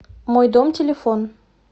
мой дом телефон